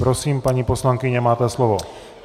Prosím, paní poslankyně, máte slovo.